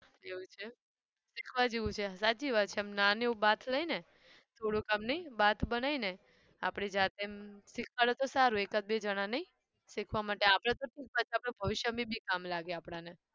એવું છે એમ શીખવા જેવું છે હા સાચી વાત છે નાનું એવું બાથ થોડું આમ નઈ બાથ બનાઈ ને આપણી જાતે એમ શીખતાં રહો તો સારું એકાદ બે જણા નહિ. શીખવા માટે આપણે તો શું પછી આપણા ભવિષ્યમાં બી કામ લાગે આપણને